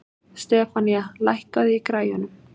Stefanía, lækkaðu í græjunum.